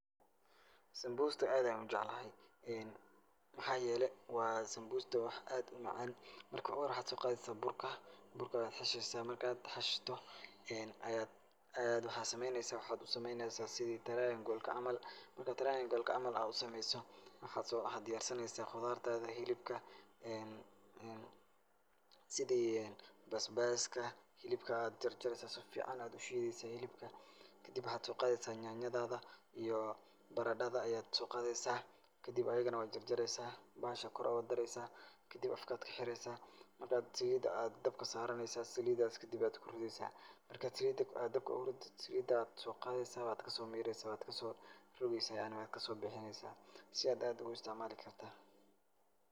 Sambusta aad ayaan u jeclahay. Maxaa yeelay waa sambusta wax aad u macaan. Marka hore waxaad soo qadaysa burka. Burka ayaad xashaysaa, marka aad hashto aad aad waxaad samaynaysaa waxaad u samaynaysaa sidii triangolka camal. Marka triangolka camal aad u sameeyso, waxaad diyaarsanaysaa qudaartaada, hilibka, sida basbaaska. Hilibka aad jarjaraysa si ficaan ayaad u shiidaysa hilibka, kadib waxaad soo qaadaysaa nyaanyadaada iyo baradada ayaad soo qaadaysaa. Kadib ayigana waad jarjaraysaa, bahasha kor ugu daraysaa kadib afakaa ka xiraysaa. Marka aad saliida ayaad dabka saaranaysaa. Saliidaas kadib ayaad kuridaysaa. Marka saliida aad dabka ugu rido, saliidaad soo qaadaysaa, waad ka soo miiraysaa, waad ka soo rogaysaa yacni waad ka soo bixinaysaa si ad aad ugu istacmaali karta.